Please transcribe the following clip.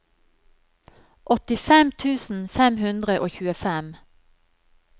åttifem tusen fem hundre og tjuefem